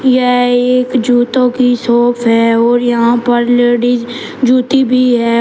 यह एक जूतो की शॉप है और यहां पर लेडिस जूती भी है।